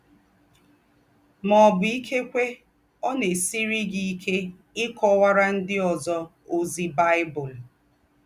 Mà ọ̀ bù, ìkékwé, ọ̀ nà-èsírì gí íké íkọ́wàrà ndí́ ózọ́ ózí Bible.